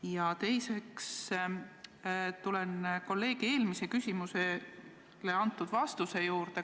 Ja teiseks tulen kolleegi eelmisele küsimusele antud vastuse juurde.